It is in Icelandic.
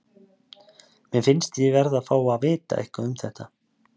Mér finnst ég verði að fá að vita eitthvað um það.